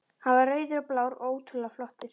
Hann var rauður og blár og ótrúlega flottur.